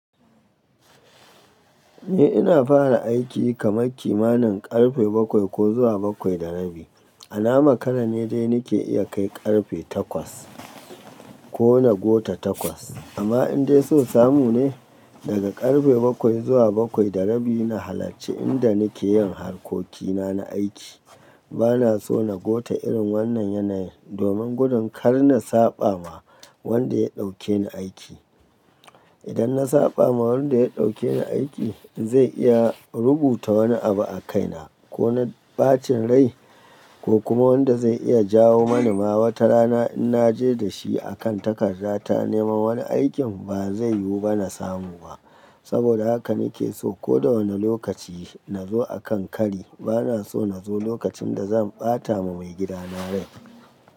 Ni ina fara aiki kamar kimanin karfe bakwai ko zuwa bakwai da rabi. A na makara ne dai nake iya kai karfe takwas ko na gota takwas. Amma in dai so samu ne, daga karfe bakwai zuwa bakwai da rabi na halarci inda nake yin harkokina na aiki. Bana so na gota irin wannan yanayin, domin gudun kar na saɓa ma wanda ya ɗauke ni aiki. Idan na saɓa ma wanda ya ɗauke ni aiki, zai iya rubuta wani abu a kaina. Ko na ɓacin rai ko kuma wanda zai iya jawo mani ma wata rana in naje da shi a kan takarda ta neman wani aikin ba zai yu bani samuwa. Saboda haka nake so koda wane lokaci nazo akan kari. Bana so nazo lokacin da zan ɓata ma maigida na rai.